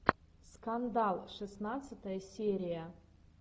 скандал шестнадцатая серия